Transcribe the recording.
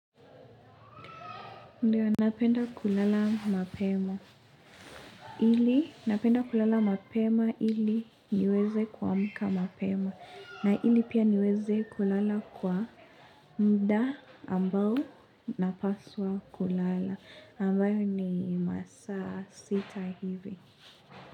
Ndiyo, napenda kulala mapema. Ili, napenda kulala mapema ili niweze kuamka mapema. Na ili pia niweze kulala kwa muda ambao napaswa kulala. Ambayo ni masaa sita hivi.